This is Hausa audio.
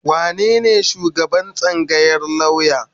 Wanene shugaban tsangayar lauya?